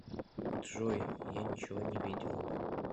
джой я ничего не видела